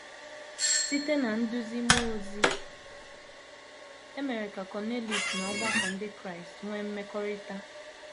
Site ná nduzi mmụọ ozi, e mere ka Kọniliọs na ọgbakọ ndị Kraịst nwee mmekọrịta.